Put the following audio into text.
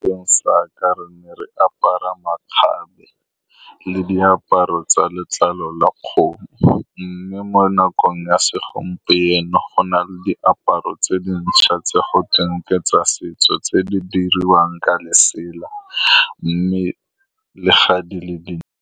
Sa kgale re ne re apara makgabe le diaparo tsa letlalo la kgomo, mme mo nakong ya segompieno go na le diaparo tse dintšha tse gotweng ke tsa setso, tse di diriwang ka lesela, mme le fa di le di.